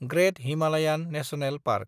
ग्रेत Himalayan National park